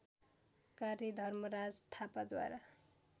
कार्य धर्मराज थापाद्वारा